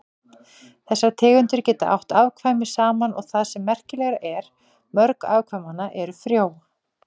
Þessar tegundir geta átt afkvæmi saman og það sem merkilegra er, mörg afkvæmanna eru frjó.